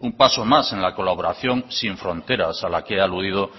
un paso más en la colaboración sin fronteras a la que he aludido